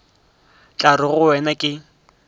tla re go wena ke